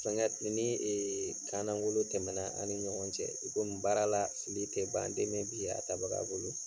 Fɛngɛ nin ni kan langolo tɛmɛ na ani ni ɲɔgɔn cɛ i komi baara la fili tɛ ban den bi bin a tabaga bolo.